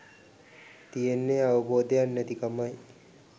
තියෙන්නේ අවබෝධයක් නැති කමයි.